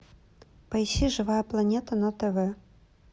поищи живая планета на тв